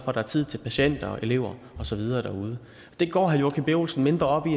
at der er tid til patienter og elever og så videre derude det går herre joachim b olsen mindre op i